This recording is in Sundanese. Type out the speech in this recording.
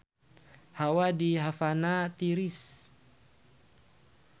Hawa di Havana tiris